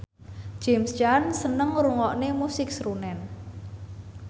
James Caan seneng ngrungokne musik srunen